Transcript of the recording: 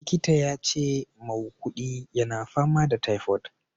Likitan yace maukudi yana fama da typhoid.